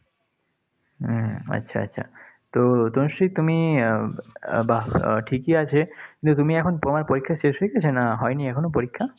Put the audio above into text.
হম আচ্ছা, আচ্ছা। তো তনুশ্রী তুমি আহ বাহ ঠিকই আছে, কিন্ত তুমি এখন তোমার পরীক্ষা শেষ হয়ে গেছে না হয়নি এখনো পরীক্ষা?